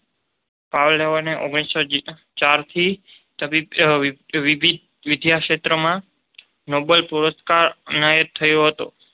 પાવલોવને ઓગણીસો ચારથી તબીબી વિદ્યાક્ષેત્રમાં નોબલ પારિતોષિક એનાયત થયું હતું.